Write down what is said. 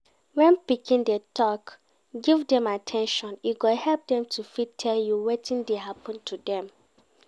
when pikin dey talk, give them at ten tion e go help dem to fit tell you wetin dey happen to them